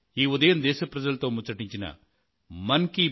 మీకు అందరికీ నమస్కారం